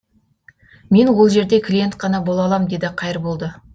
мен ол жерде клиент қана бола алам деді қайырболды